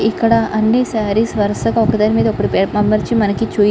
ఇక్కడ అన్ని సారీస్ వరసగా ఒక దాని మీద ఒకటి అమర్చి చూపి--